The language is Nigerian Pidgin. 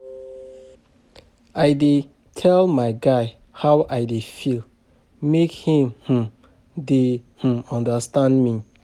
I dey tell my guy how I dey feel make im um dey um understand me.